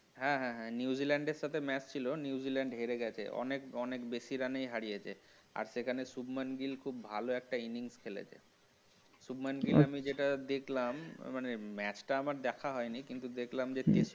হ্যাঁ হ্যাঁ হ্যাঁ New zealand সাথে match ছিল New zealand হেরে গেছে অনেক বেশি run হারিয়েছে আর সেখানে সুবমান গিল্ খুব ভালো একটা innings খেলেছে আমি যেটা দেখলাম মানে match টা আমার ঠিক দেখা হয়নি কিন্তু দেখলাম যে